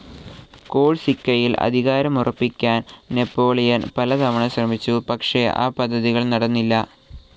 കോഴ്സിക്കയിൽ അധികാരമുറപ്പിക്കാൻ നാപ്പോളിയൻ പലതവണ ശ്രമിച്ചു പക്ഷെ ആ പദ്ധതികൾ നടന്നില്ല.